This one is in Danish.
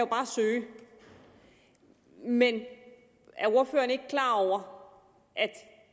kan søge men er ordføreren ikke klar over at